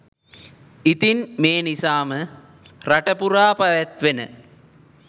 ඉතින් මේ නිසාම රටපුරා පැවැත්වෙන